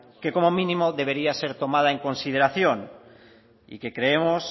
que como mínimo debería ser tomada en consideración y que creemos